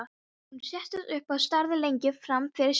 Hún settist upp og starði lengi fram fyrir sig.